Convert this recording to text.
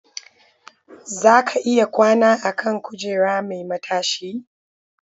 Za ka iya kwana a kan kujera mai matashi.